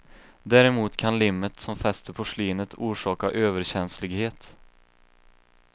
Däremot kan limmet som fäster porslinet orsaka överkänslighet.